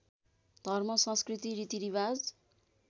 धर्म संस्कृति रीतिरिवाज